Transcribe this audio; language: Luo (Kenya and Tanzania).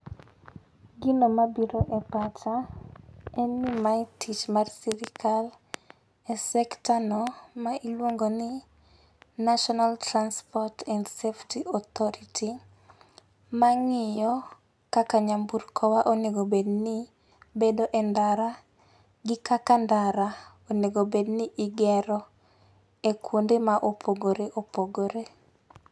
Gino mabiro e pacha en ni mae tich mar sirikal e sector no miluongo ni National Transport and Safety Authority ma ng'iyo kaka nyamburkowa onego obedni bedo e ndara gi kaka ndara onego obedni igero e kwonde ma opogore opogore.